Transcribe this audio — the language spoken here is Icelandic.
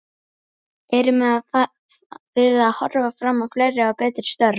Erum við að horfa fram á fleiri og betri störf?